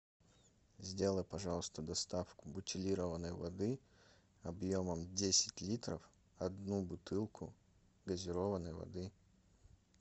сделай пожалуйста доставку бутилированной воды объемом десять литров одну бутылку газированной воды